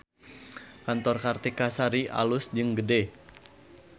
Kantor Kartika Sari alus jeung gede